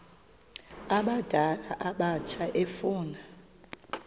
abadala abatsha efuna